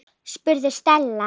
spurði Stella.